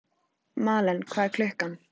Malen, hvað er klukkan?